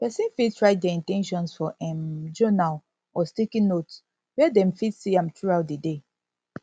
person fit write their in ten tions for um journal or sticky note where dem fit see am throughout di day